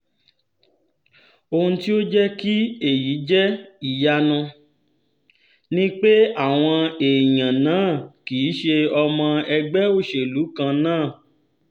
ohun tó jẹ́ kí èyí jẹ́ ìyanu ni pé àwọn èèyàn náà kì í ṣe ọmọ ẹgbẹ́ òṣèlú kan náà